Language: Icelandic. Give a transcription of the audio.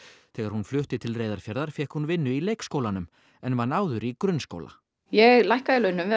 þegar hún flutti til Reyðarfjarðar fékk hún vinnu í leikskólanum en vann áður í grunnskóla ég lækkaði í launum við